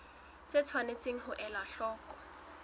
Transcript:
tse tshwanetseng ho elwa hloko